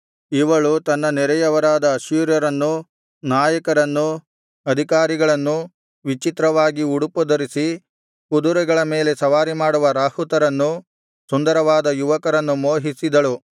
ಇವಳು ತನ್ನ ನೆರೆಯವರಾದ ಅಶ್ಶೂರ್ಯರನ್ನೂ ನಾಯಕರನ್ನೂ ಅಧಿಕಾರಿಗಳನ್ನು ವಿಚಿತ್ರವಾಗಿ ಉಡುಪು ಧರಿಸಿ ಕುದರೆಗಳ ಮೇಲೆ ಸವಾರಿಮಾಡುವ ರಾಹುತರನ್ನು ಸುಂದರವಾದ ಯುವಕರನ್ನು ಮೋಹಿಸಿದಳು